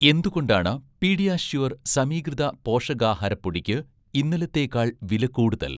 എന്തുകൊണ്ടാണ് 'പീഡിയാഷ്യൂർ' സമീകൃത പോഷകാഹാര പൊടിയ്ക്ക് ഇന്നലത്തേക്കാൾ വിലക്കൂടുതൽ?